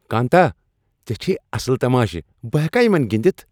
کانتا، ژےٚ چھِیہ اصل تماشہِ ۔بہ ہیکا یمن گنِدِتھ ؟